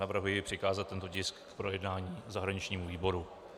Navrhuji přikázat tento tisk k projednání zahraničnímu výboru.